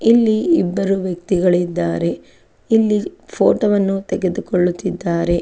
ಇಲ್ಲಿ ಇಬ್ಬರು ವ್ಯಕ್ತಿಗಳು ಇದ್ದಾರೆ ಇಲ್ಲಿ ಫೋಟೋವನ್ನು ತೆಗೆದುಕೊಳ್ಳುತಿದ್ದಾರೆ.